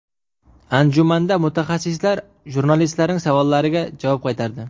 Anjumanda mutaxassislar jurnalistlarning savollariga javob qaytardi.